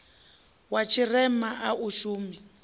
wa tshirema a u shumi